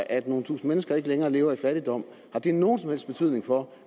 at nogle tusinde mennesker ikke længere lever i fattigdom nogen som helst betydning for